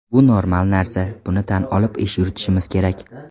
Bu normal narsa, buni tan olib ish yuritishimiz kerak.